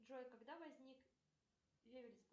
джой когда возник